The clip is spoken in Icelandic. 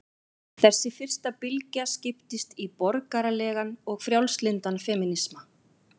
Þessi fyrsta bylgja skiptist í borgaralegan og frjálslyndan femínisma.